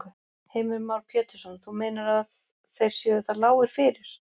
Heimir Már Pétursson: Þú meinar að þeir séu það lágir fyrir?